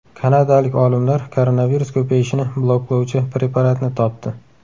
Kanadalik olimlar koronavirus ko‘payishini bloklovchi preparatni topdi.